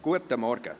Guten Morgen!